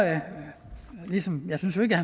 at han